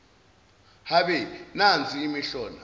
habe nansi imihlola